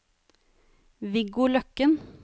Viggo Løkken